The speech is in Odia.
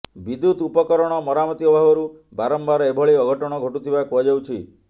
ବିଦ୍ୟୁତ ଉପରକରଣ ମରାମତି ଅଭାବରୁ ବାରମ୍ବାର ଏଭଳି ଅଘଟଣ ଘଟୁଥିବା କୁହାଯାଉଛି